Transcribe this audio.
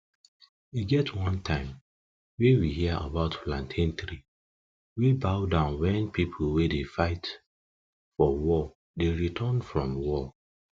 e get one time wey we hear about plantain tree wey bow down wen people wey dey fight for war dey return from war